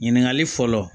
Ɲininkali fɔlɔ